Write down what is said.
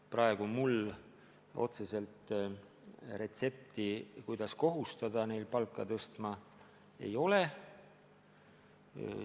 Praegu mul otseselt retsepti, kuidas kohustada neil inimestel palka tõstma, ei ole.